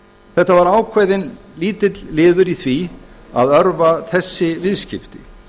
þetta var ákveðinn lítill liður í því að örva þessi viðskipti